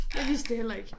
Jeg vidste det heller ikke